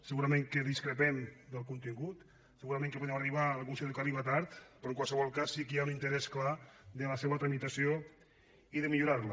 segurament que discrepem del contingut segurament que podem arribar a la conclusió que arriba tard però en qualsevol cas sí que hi ha un interès clar per la seva tramitació i per millorar la